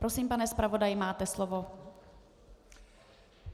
Prosím, pane zpravodaji, máte slovo.